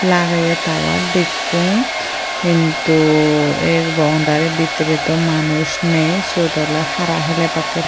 lageye tower dekkong hintu ey boundary bidire dow manus nei siyot oley hara helebakke.